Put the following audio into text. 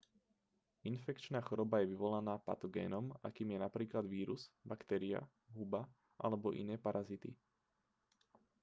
infekčná choroba je vyvolaná patogénom akým je napríklad vírus baktéria huba alebo iné parazity